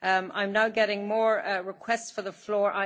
I am now getting more requests for the floor.